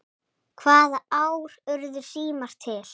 Hvaða ár urðu símar til?